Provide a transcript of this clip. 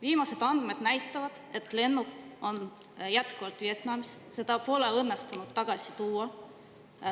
Viimased andmed näitavad, et lennuk on jätkuvalt Vietnamis, seda pole õnnestunud tagasi tuua.